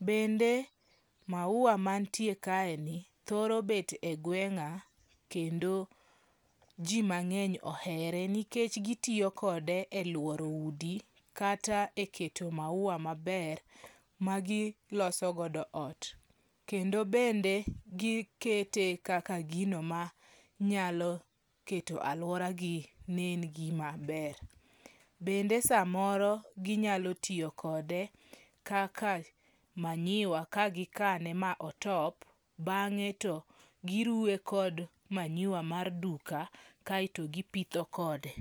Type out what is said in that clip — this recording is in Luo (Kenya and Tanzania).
Bende maua mantie kaeni thoro bet e gweng'a kendo ji mang'eny ohere nikech gitiyo kode e lworo udi kata e keto maua maber ma gilosogodo ot. Kendo bende gikete kaka gino ma nyalo keto alworagi nen gima ber. Bende samoro ginyalo tiyo kode kaka manyiwa ka gikane ma otop, bang'e to giruwe gi manyiwa mar duka kato gipitho kode.